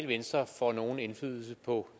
venstre får nogen indflydelse på